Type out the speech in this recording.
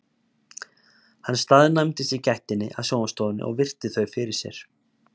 Hann staðnæmdist í gættinni að sjónvarpsstofunni og virti þau fyrir sér.